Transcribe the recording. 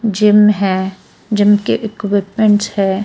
Gym है gym के equipments है.